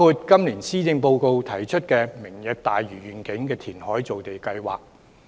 今年施政報告提出的"明日大嶼願景"填海造地計劃，可以達到此目的。